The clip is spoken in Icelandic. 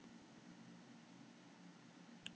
Ríkey, hvað er jörðin stór?